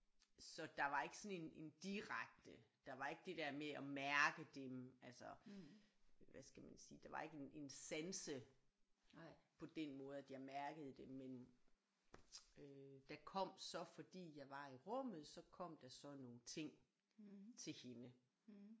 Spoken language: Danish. Så der var ikke sådan en en direkte der var ikke det der med at mærke dem altså hvad skal man sige der var ikke en en sanse på den måde at jeg mærkede dem men øh der kom så fordi jeg var i rummet så kom der så nogle ting til hende